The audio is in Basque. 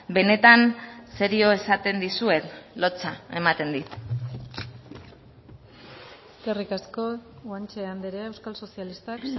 benetan serio esaten dizuet lotsa ematen dit eskerrik asko guanche andrea euskal sozialistak